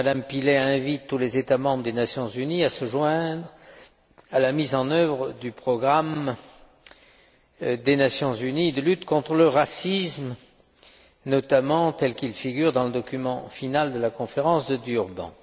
Elle invite tous les États membres des Nations unies à se joindre à la mise en œuvre du programme des Nations unies de lutte contre le racisme, notamment tel qu'il figure dans le document final de la Conférence de Durban.